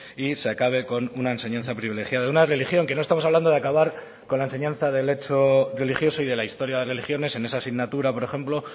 y se acabe con una enseñanza privilegiada una religión que no estamos hablando de acabar con la enseñanza del hecho religioso y de la historia de religiones en esa asignatura por ejemplo